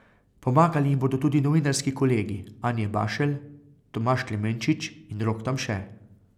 Pomagali jim bodo tudi novinarski kolegi Anje Bašelj, Tomaž Klemenčič in Rok Tamše.